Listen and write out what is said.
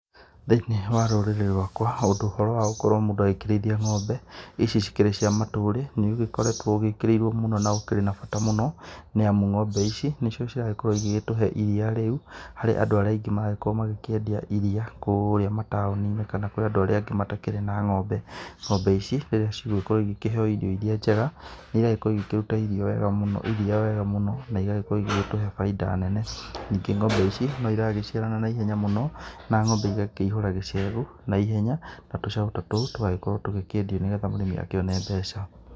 Thĩinĩ wa rũrĩrĩ rwakwa ũhoro wa gũkorwo mũndũ agĩkĩrĩithia ng'ombe ici cikĩrĩ cia matũrĩ. Nĩ ũgĩkoretwo ũgĩkĩrĩirwo mũno na ũkĩrĩ na bata mũno, nĩ amu ng'ombe ici nĩcio ciragĩkorwo igĩtũhe iria rĩu harĩ andũ aingĩ maragĩkorwo makĩendia iria kũrĩa mataũni-inĩ kana kũrĩa andũ arĩ angi matakĩrĩ na ng'ombe. Ng'ombe ici rĩrĩa cigũgĩkorwo igĩkĩheo irio iria njega nĩ iragĩkorwo igĩkĩruta iria wega mũno na igagĩkorwo igĩtũhe bainda nene. Nĩngĩ ng'ombe ici no iragĩciarana na ihenya mũno, na ng'ombe igakĩihũra gĩcegũ na ihenya na tũcaũ ta tũtũ tũgagĩkorwo tũkĩendio nĩ getha mũrĩmi agĩkĩone mbeca.